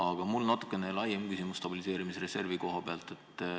Aga mul on natuke laiem küsimus stabiliseerimisreservi kohta.